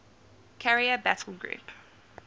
carrier battle group